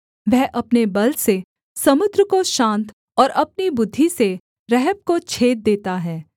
वह अपने बल से समुद्र को शान्त और अपनी बुद्धि से रहब को छेद देता है